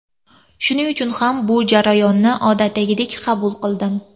Shuning uchun ham bu jarayonni odatdagidek qabul qildim.